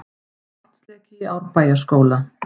Vatnsleki í Árbæjarskóla